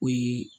O ye